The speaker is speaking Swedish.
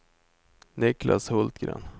Niklas Hultgren